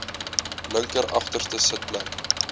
linker agterste sitplek